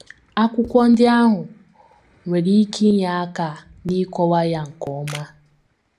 Akwụkwọ ndị ahụ nwere ike inye aka n’ịkọwa ya nke ọma.